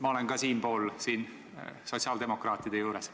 Ma olen siinpool, siin sotsiaaldemokraatide juures.